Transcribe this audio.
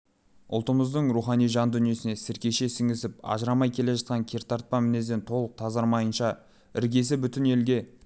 ұлтымыздың рухани жан дүниесіне сіркеше сіңісіп ажырамай келе жатқан кертартпа мінезден толық тазармайынша іргесі бүтін елге